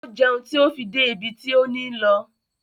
O jẹun ti o fi dé ibi ti o ni lọ